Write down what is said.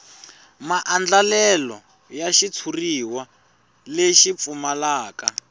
maandlalelo ya xitshuriwa lexi pfumalaka